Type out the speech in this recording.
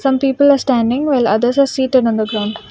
some people are standing while others are seated on the ground.